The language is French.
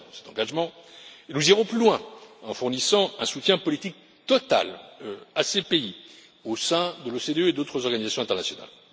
Nous tiendrons cet engagement et nous irons plus loin, en fournissant un soutien politique total à ces pays au sein de l'OCDE et d'autres organisations internationales.